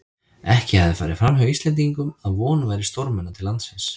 Ekki hafði farið framhjá Íslendingum, að von væri stórmenna til landsins.